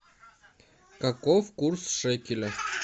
каков курс шекеля